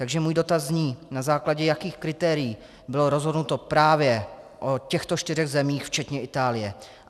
Takže můj dotaz zní: Na základě jakých kritérií bylo rozhodnuto právě o těchto čtyřech zemích včetně Itálie?